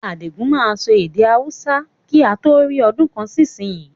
Adigun máa ma sọ èdè Hausa kí a tó rí ọdún kan sì ìsìn yí